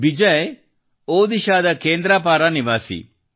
ಬಿಜಯ್ ಅವರು ಒಡಿಶ್ಸಾದ ಕೇಂದ್ರಪಾರ ನಿವಾಸಿ